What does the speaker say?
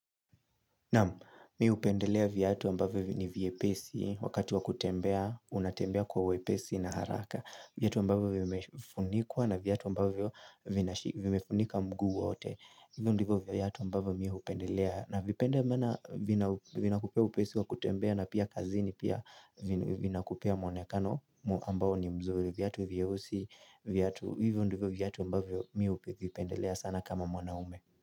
Nam, mimi hupendelea viatu ambavyo ni viepesi wakati wakutembea, unatembea kwa uwepesi na haraka. Viatu ambavyo vimefunikwa na viatu ambavyo vimefunika mguu wote. Hivyo ndivyo viatu ambavyo mimi hupendelea. Navipenda maana vina kupea upesi wa kutembea na pia kazini pia vinakupea muonekano ambao ni mzuri. Viatu vyeusi, viatu. Hivyo ndivyo viatu ambavyo mimi huvipendelea sana kama mwanaume.